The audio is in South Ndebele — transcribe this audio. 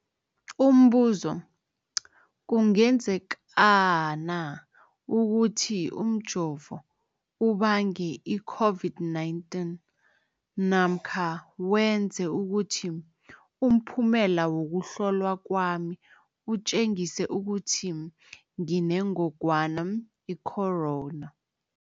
Umbuzo, kungenzekana ukuthi umjovo ubange i-COVID-19 namkha wenze ukuthi umphumela wokuhlolwa kwami utjengise ukuthi nginengogwana i-corona?